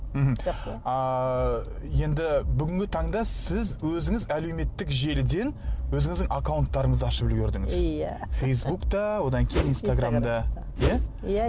мхм ааа енді бүгінгі таңда сіз өзіңіз әлеуметтік желіден өзіңіздің аккаунттарыңызды ашып үлгердіңіз иә фейсбукта одан кейін инстаграмда иә иә